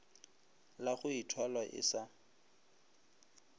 la go ithwala e sa